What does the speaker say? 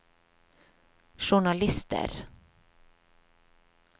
journalister